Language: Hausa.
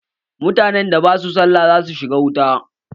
Mutanen da basu sallah za su shiga wuta.